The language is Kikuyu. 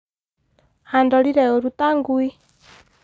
andorire ũũru ta ngui